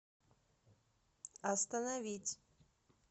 остановить